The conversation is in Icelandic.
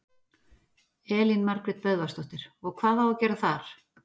Elín Margrét Böðvarsdóttir: Og hvað á að gera þar?